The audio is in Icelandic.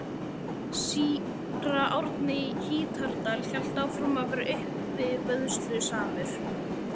Síra Árni í Hítardal hélt áfram að vera uppivöðslusamur.